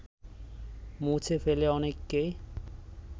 মুছে ফেলে অনেককেই